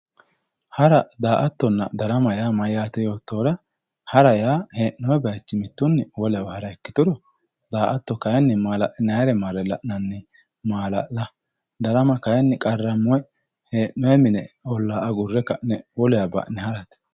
hara, daa''attonna, darama mayyaate yoottohura hara yaa hee'noonni bayiichinni mittunni wolewa hara ikkituro daa''atto kayiinni maala'linannire marre la'nanni maala'la darama kayiinni qarramme hee'noonni mine olla agurre ka'ne wolewa ba'ne harate.